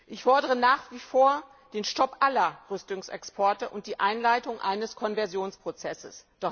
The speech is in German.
Ich fordere nach wie vor den Stopp aller Rüstungsexporte und die Einleitung eines Konversionsprozesses.